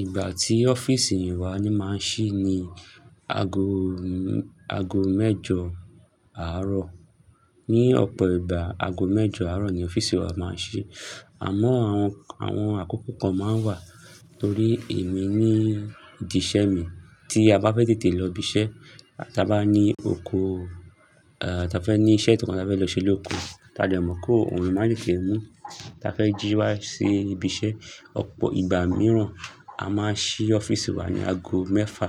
Ìgbà tí ọ́fíìsì wa ń máa ń ṣí ni ago mẹ́jọ àárọ̀. Ni ọ̀pọ̀ ìgbà ago mẹ́jọ àárọ̀ ni ọ́fíìsì wa máa ń ṣí. Àmọ́ àwọn àkókò kan máa ń wà torí èmi ní ìdí iṣẹ́ mi tí a bá fẹ́ tètè lọ ibiṣẹ́, ta bá ní oko, ta fẹ́ ní iṣẹ́ ìtànkọ́ ta fẹ́ lọ ṣe lóko, tá dé mọ pé ọrùn máa tètè mú Ta fẹ́ jí wá sí ibiṣẹ́, ọ̀pọ̀ ìgbà mìíràn a máa ṣí ọ́fíìsì wa ní ago mẹ́fà,